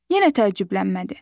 Yenə təəccüblənmədi.